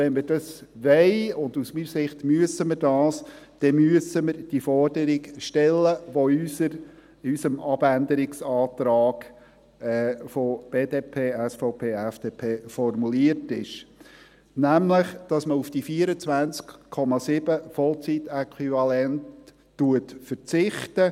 Wenn wir dies wollen – und aus meiner Sicht müssen wir es –, dann müssen wir die Forderung stellen, die in unserem Abänderungsantrag BDP/FDP/SVP formuliert ist, nämlich, dass man auf die 24,7 Vollzeit-Äquivalente verzichtet.